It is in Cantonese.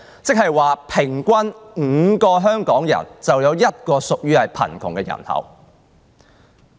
換言之，平均每5個香港人，便有一人屬於貧窮人口。